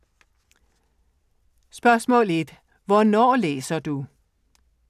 1) Hvornår læser du?